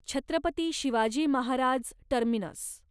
Chhatrapati Shivaji Maharaj terminus